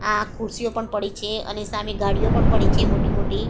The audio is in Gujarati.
આ ખુરશીઓ પણ પડી છે અને સામે ગાડીઓ પણ પડી છે મોટી મોટી.